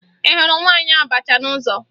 Ị hụrụ nwaanyị abacha n'ụzọ?